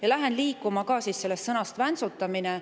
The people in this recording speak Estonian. Ma lähen liikuma sellest sõnast "väntsutamine".